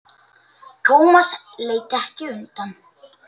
Thomas leit ekki undan.